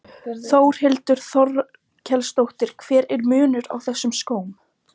Þórhildur Þorkelsdóttir: Hver er munurinn á þessum skóm?